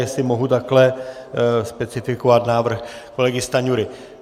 Jestli mohu takto specifikovat návrh kolegy Stanjury.